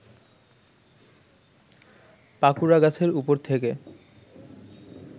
পাকুড়াগাছের ওপর থেকে